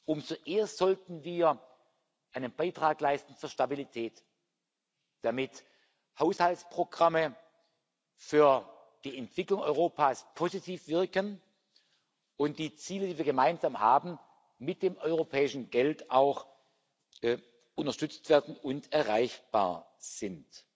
Umso eher sollten wir einen Beitrag zur Stabilität leisten, damit Haushaltsprogramme für die Entwicklung Europas positiv wirken und die Ziele, die wir gemeinsam haben, mit dem europäischen Geld auch unterstützt werden und erreichbar sind.